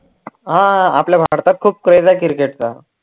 हा आपल्या भारतात खूप craze आहे cricket चा